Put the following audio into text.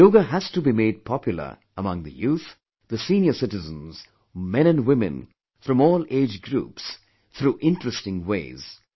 Yoga has to be made popular among the youth, the senior citizens, men and women from all age groups through interesting ways